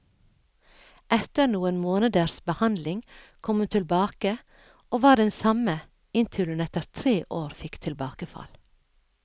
Etter noen måneders behandling kom hun tilbake, og var den samme, inntil hun etter tre år fikk tilbakefall.